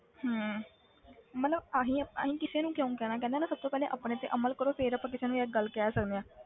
ਹਮ ਮਤਲਬ ਅਸੀਂ ਅਸੀਂ ਕਿਸੇ ਨੂੰ ਕਿਉਂ ਕਹਿਣਾ ਕਹਿੰਦੇ ਆ ਨਾ ਸਭ ਤੋਂ ਪਹਿਲੇ ਆਪਣੇ ਤੇ ਅਮਲ ਕਰੋ ਫਿਰ ਆਪਾਂ ਕਿਸੇ ਨੂੰ ਯਾਰ ਗੱਲ ਕਹਿ ਸਕਦੇ ਹਾਂ।